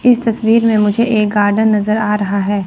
इस तस्वीर में मुझे एक गार्डन नजर आ रहा है।